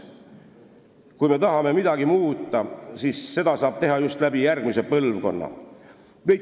Kui me tahame midagi muuta, siis seda saab teha just järgmist põlvkonda silmas pidades.